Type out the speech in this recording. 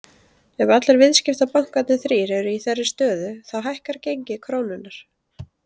Ef allir viðskiptabankarnir þrír eru í þeirri stöðu þá hækkar gengi krónunnar.